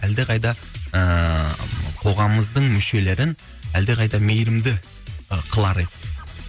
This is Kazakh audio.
әлдеқайда ыыы қоғамымыздың мүшелерін әлдеқайда мейірімді ы қылар едік